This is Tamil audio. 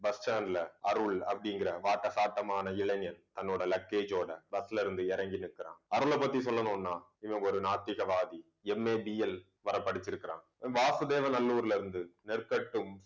bus stand ல அருள் அப்படிங்கற வாட்ட சாட்டமான இளைஞன் தன்னோட luggage ஓட bus ல இருந்து இறங்கி நிற்கிறான். அருளைப் பற்றி சொல்லணும்னா இவன் ஒரு நாத்திகவாதி MABL வரை படிச்சிருக்கிறான் வாசுதேவநல்லூர்ல இருந்து நெற்கட்டும்